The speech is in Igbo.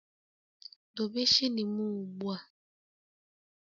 Dobe shilling m ugbua.!